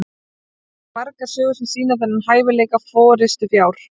til eru margar sögur sem sýna þennan hæfileika forystufjár